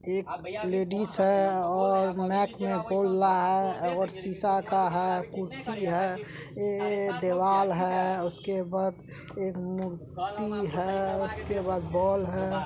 एक लेडिस है और मएक में बोल रहा है और सीसा का है कुर्सी है एक दीवाल है उसके बाद एक मूर्ति है उसके बाद बोल है ।